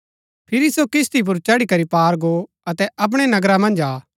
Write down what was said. फिरी सो किस्ती पुर चढ़ी करी पार गो अतै अपणै नगरा मन्ज आ